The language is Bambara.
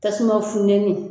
Tasuma funtɛni.